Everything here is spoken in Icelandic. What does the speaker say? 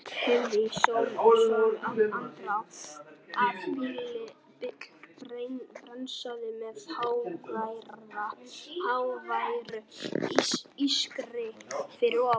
Heyrði í sömu andrá að bíll bremsaði með háværu ískri fyrir ofan.